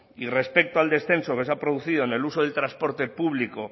y respecto al descenso que se ha producido en el uso del transporte público